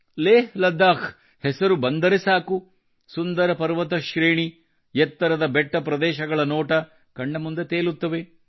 ಲೇಹ್ಲದ್ದಾಖ್ ಹೆಸರು ಬಂದರೆ ಸಾಕು ಸುಂದರ ಪರ್ವತ ಶ್ರೇಣಿ ಮತ್ತು ಎತ್ತರದ ಬೆಟ್ಟ ಪ್ರದೇಶಗಳ ನೋಟ ಕಣ್ಣ ಮುಂದೆ ತೇಲುತ್ತವೆ